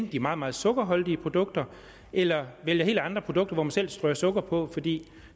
de meget meget sukkerholdige produkter eller til helt andre produkter hvor man selv strør sukker på fordi